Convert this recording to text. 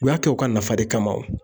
U y'a kɛ u ka nafa de kama wo.